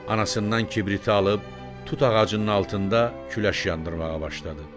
Anasından kibriti alıb tut ağacının altında küləş yandırmağa başladı.